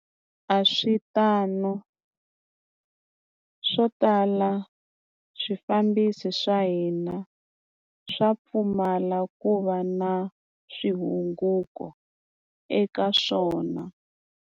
A swi tano, swo tala swifambisi swa hina swa pfumala ku va na swi hunguto eka swona.